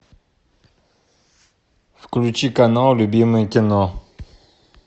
включи канал любимое кино